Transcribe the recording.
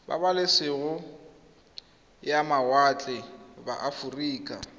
pabalesego ya mawatle ba aforika